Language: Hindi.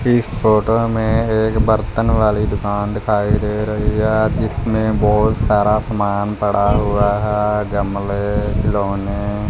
इस फोटो में एक बर्तन वाली दुकान दिखाई दे रही है। जिसमें बहुत सारा सामान पड़ा हुआ है। गमले खिलौने--